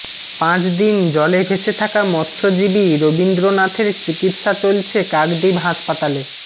পাঁচদিন জলে ভেসে থাকা মৎসজীবী রবীন্দ্রনাথের চিকিৎসা চলছে কাকদ্বীপ হাসপাতালে